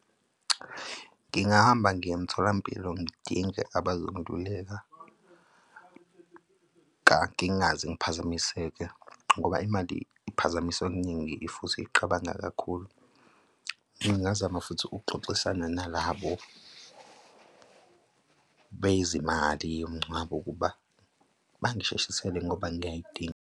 Ngingahamba ngiye emtholampilo ngidinge abazongiluleka, ngingaze ngiphazamiseke, ngoba imali iphazamisa okuningi futhi iqabanga kakhulu. Ngingazama futhi ukuxoxisana nalabo bezimali yomngcwabo ukuba bangisheshisele ngoba ngiyayidinga.